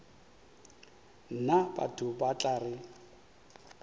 nna batho ba tla re